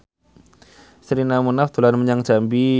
Sherina Munaf dolan menyang Jambi